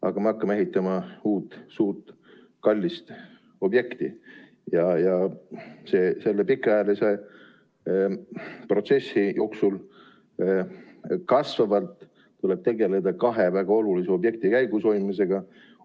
Aga me hakkame ehitama uut suurt kallist objekti ja selle pikaajalise protsessi jooksul tuleb tegeleda kahe väga olulise objekti käigushoidmisega.